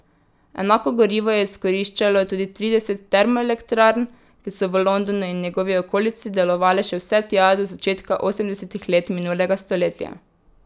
Enako gorivo je izkoriščalo tudi trideset termoelektrarn, ki so v Londonu in njegovi okolici delovale še vse tja do začetka osemdesetih let minulega stoletja.